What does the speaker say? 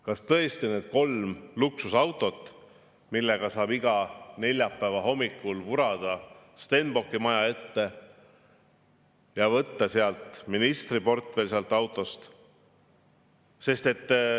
Kas tõesti need kolm luksusautot, millega saab iga neljapäeva hommikul vurada Stenbocki maja ette, et võtta sealt autost ministriportfell?